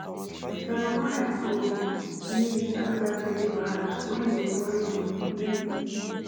my mama help um me sabi that belly wahala when e dey worry um me